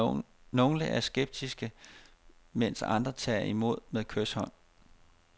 Nogle er skeptiske, mens andre tager imod med kyshånd.